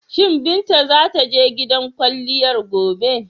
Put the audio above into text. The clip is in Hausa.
Shi Binta za ta je gidan kwalliyar gobe?